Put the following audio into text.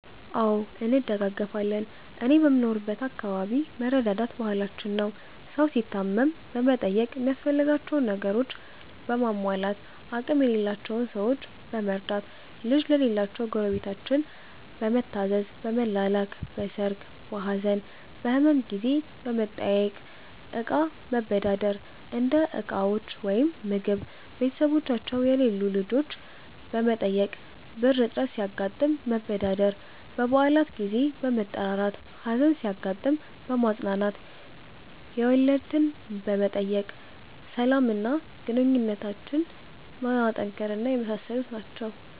አዎ እንደጋገፋለን እኔ በምኖርበት አከባቢ መረዳዳት ባህላችን ነው። ሠው ሲታመም በመጠየቅ ሚያስፈልጋቸውን ነገሮችን በማሟላት፣ አቅም የሌላቸውን ሠዎች በመርዳት፣ ልጅ ለሌላቸው ጎረቤታችን በመታዘዝ፣ በመላላክ፣ በሠርግ፣ በሀዘን፣ በህመም ጊዜ በመጠያየቅ፣ እቃ መበዳደር (እንደ ዕቃዎች ወይም ምግብ)፣ቤተሠቦቻቸው የሌሉ ልጆች በመጠበቅ፣ ብር እጥረት ሲያጋጥም መበዳደር፣ በበአላት ጊዜ በመጠራራት፣ ሀዘን ሲያጋጥም በማፅናናት፣ የወለድትን በመጠየቅ፣ ሠላም እና ግንኙነትን በማጠናከር እና የመሣሠሉት ናቸው።